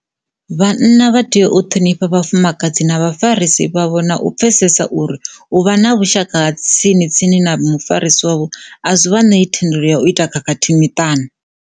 Vhanna vha tea u ṱhonifha vhafumakadzi na vhafarisi vhavho na u pfesesa uri u vha na vhushaka ha tsini tsini na mufarisi wavho a zwi vha ṋei thendelo ya u ita khakhathi miṱani.